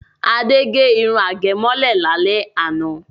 Ade gẹ irun àgẹ̀mọ́lẹ̀ lálẹ́ àná.